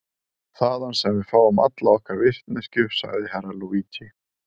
Þaðan sem við fáum alla okkar vitneskju, sagði Herra Luigi.